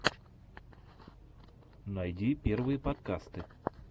найди первые подкасты